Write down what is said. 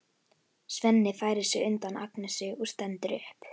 Svenni færir sig undan Agnesi og stendur upp.